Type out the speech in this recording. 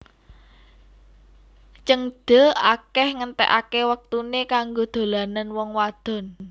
Zhengde akeh ngentekake wektune kanggo dolanan wong wadon